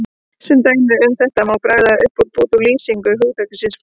Sem dæmi um þetta má bregða upp bút úr lýsingu hugtaksins fortíð